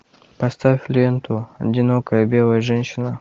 поставь ленту одинокая белая женщина